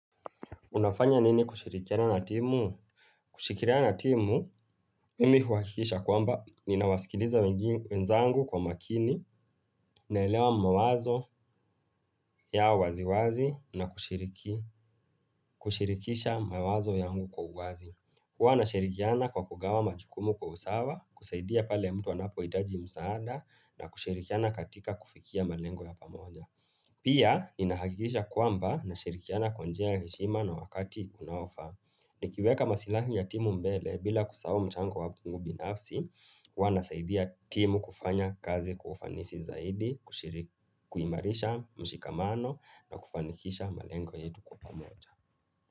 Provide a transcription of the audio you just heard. Unafanya nini kushirikiana na timu? Kushikiliana na timu, imi huakikisha kwamba, ninawasikiliza wenzangu kwa makini, naelewa mawazo ya waziwazi na kushirikisha mawazo yangu kwa uwazi. Huwa na shirikiana kwa kugawa majukumu kwa usawa, kusaidia pale mtu wanapo idaji msaada na kushirikiana katika kufikia malengo ya pamoja. Pia, inahakikisha kwamba na shirikiana kwanjia ya heshima na wakati unaofa. Nikiweka masilahi ya timu mbele bila kusahao mchango wapungu binafsi, wanasaidia timu kufanya kazi kwa ufanisi zaidi, kuimarisha mshikamano na kufanikisha malengo yetu kwa pamoja.